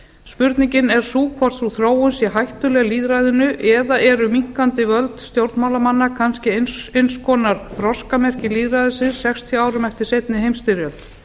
spurningin er sú hvort sú þróun sé hættuleg lýðræðinu eða eru minnkandi völd stjórnmálamanna kannski eins konar þroskamerki lýðræðisins sextíu árum eftir seinni heimsstyrjöld